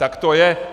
Tak to je.